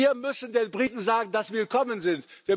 Wir müssen den Briten sagen, dass sie willkommen sind.